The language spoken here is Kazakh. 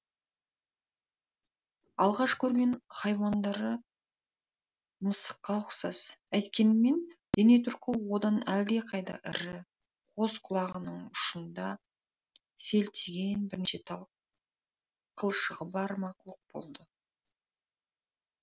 алғаш көрген хайуандары мысыққа ұқсас әйткенмен дене тұрқы одан әлдеқайда ірі қос құлағының ұшында селтиген бірнеше тал қылшығы бар мақұлық болды